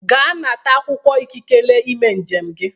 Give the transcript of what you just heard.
Ga nata akwụkwọ ikikere ime njem gị.